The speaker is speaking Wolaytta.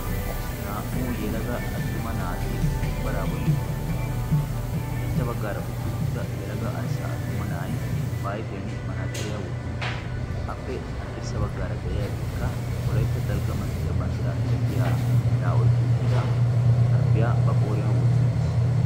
naa''u yelaga attuma naati bombbaraa bolli utti uttidosona ushachcha baggaara utti uttida yelaga arssa attuma na'ay ba ayfiyan manaxiriyaa wotti uttiis appe haddirssa baggaara de'iyaageekka woletta dalgga manttiyaa banddiraa miratiya meraa oykki uttida sharbbiyaa ba qooriyan wotti uttiis